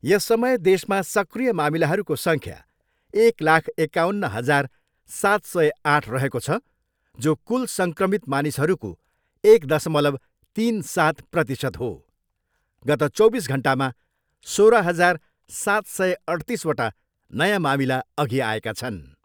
यस समय देशमा सक्रिय मामिलाहरूको सङ्ख्या एक लाख एकाउन्न हजार सात सय आठ रहेको छ, जो कुल सङ्क्रमित मानिसहरूको एक दसलव तिन सात प्रतिशत हो। गत चौबिस घन्टामा सोह्र हजार सात सय अठ्तिसवटा नयाँ मामिला अघि आएका छन्।